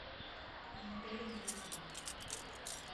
анатолий манукян